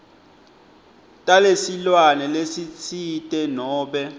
talesilwane lesitsite nobe